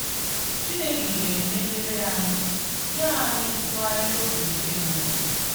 Chineke ga-emeghere anyị, nye anyị ntụgharị obi nke mmụọ.